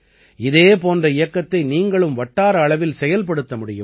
இதே போன்ற இயக்கத்தை நீங்களும் வட்டார அளவில் செயல்படுத்த முடியும்